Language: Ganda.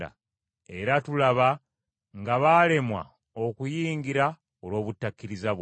Era tulaba nga baalemwa okuyingira olw’obutakkiriza bwabwe.